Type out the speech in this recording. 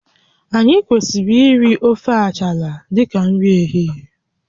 Anyị kwesịrị iri ofe achala dịka nri ehihie